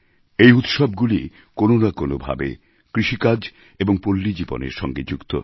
এই উৎসবগুলি কোনো না কোনো ভাবে কৃষিকাজ এবং পল্লীজীবনের সঙ্গে যুক্ত